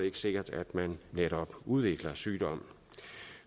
ikke sikkert at man netop udvikler sygdommen